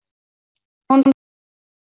Hún finnur mikið til.